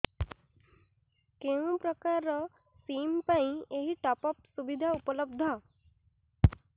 କେଉଁ ପ୍ରକାର ସିମ୍ ପାଇଁ ଏଇ ଟପ୍ଅପ୍ ସୁବିଧା ଉପଲବ୍ଧ